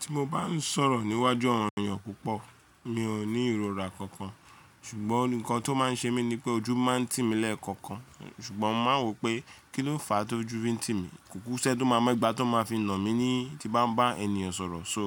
Ti mo bá n sọ̀rọ̀ níwájú àwọn èèyàn púpọ̀, mi ò ní ìrora kankan ṣùgbọ́n nǹkan tó ma n ṣe mi nipé ojú máa n tì mí lẹ́ẹ̀ kọ̀ọ̀kan ṣùgbọ́n ma n wò pé kí ló fàá tó ju bí n tí mi, kùkú ṣẹ tó máa mọ ìgbà tó ma fi nà mí ní ti ba n bá ènìyàn sọ̀rọ̀. So